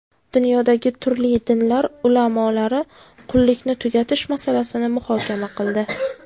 Dunyodagi turli dinlar ulamolari qullikni tugatish masalasini muhokama qildi.